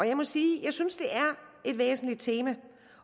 jeg må sige at jeg synes det er et væsentligt tema